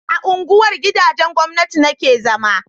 a unguwar gidajen gwamnati na ke zama